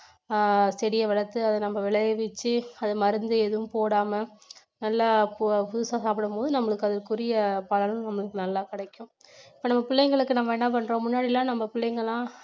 அஹ் செடியை வளர்த்து அதை நம்ம விளைவிச்சு அது மருந்து எதுவும் போடாம நல்லா புதுசா சாப்பிடும்போது நம்மளுக்கு அதுக்குரிய பலன் உங்களுக்கு நல்லா கிடைக்கும் இப்ப நம்ம பிள்ளைங்களுக்கு நம்ம என்ன பண்றோம் முன்னாடி எல்லாம் நம்ம பிள்ளைங்க எல்லாம்